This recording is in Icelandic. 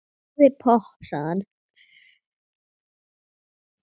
Fáðu þér popp, sagði hann.